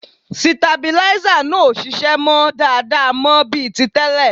Sitabilíísà náà ò ṣiṣẹ́ mọ́ dáadáa mọ́ bí ti tẹ́lẹ̀